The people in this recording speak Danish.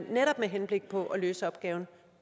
netop med henblik på at løse opgaven